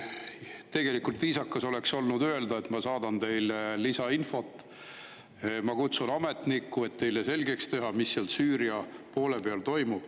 Tegelikult viisakas oleks olnud öelda, et ma saadan teile lisainfot, ma kutsun ametniku, et teile selgeks teha, mis seal Süüria poole peal toimub.